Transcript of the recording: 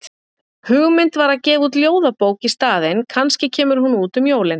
Hugmynd var að gefa út ljóðabók í staðinn, kannski kemur hún út um jólin?